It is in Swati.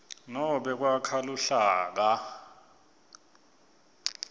nobe kwakha luhlaka